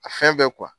A fɛn bɛɛ